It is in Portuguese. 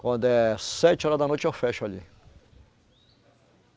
Quando é sete hora da noite, eu fecho ali.